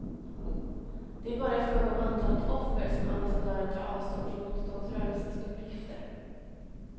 Det är bara i fråga om antalet offer som ambassadören tar avstånd från motståndsrörelsens uppgifter.